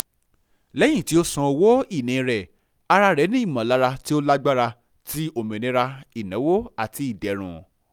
lẹ́yìn tí ó san owó-ìní rẹ ara rẹ ní ìmọ̀lára tí ó lágbára ti òmìnira ìnáwó àti ìdérùn